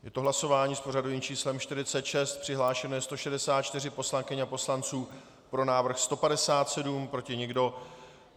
Je to hlasování s pořadovým číslem 46, přihlášeno je 164 poslankyň a poslanců, pro návrh 157, proti nikdo.